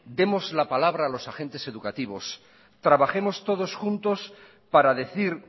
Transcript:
demos la palabra a los agentes educativos trabajemos todos juntos para decir